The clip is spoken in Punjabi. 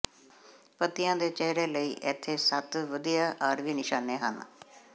ਪੱਤਿਆਂ ਦੇ ਚਿਹਰੇ ਲਈ ਇੱਥੇ ਸੱਤ ਵਧੀਆ ਆਰਵੀ ਨਿਸ਼ਾਨੇ ਹਨ